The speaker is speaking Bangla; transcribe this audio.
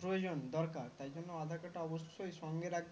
প্রয়োজন দরকার তাই জন্য aadhar card টা অবশ্যই সঙ্গে রাখবে